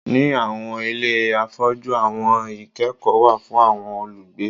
Ni awọn ile afọju awọn ikẹkọ wa fun awọn olugbe